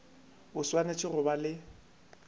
o swanetše go ba le